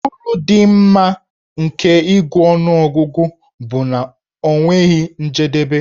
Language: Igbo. Uru dị mma nke ịgụ ọnụọgụgụ bụ na ọ nweghị njedebe.